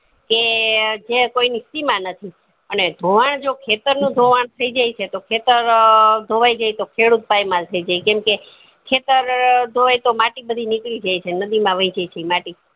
કે જે કોઈ ની સીમા નથી અને ધોવાણ જે ખેતર નું ધોવાણ થય જાય છે તો ખેતર અ ધોવાય જાય તો ખેડૂત પાયમાલ થય જાય કેમ કે ખેતર ધોવાય તો માટી બધી નીકળી જાય છે નદી માં વય જાય છે ઈ માટી